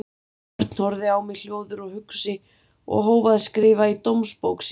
Örn horfði á mig hljóður og hugsi og hóf að skrifa í dómsbók sína.